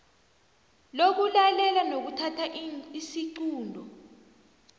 lokulalela nokuthatha isiqunto